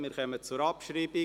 Wir kommen zur Abschreibung.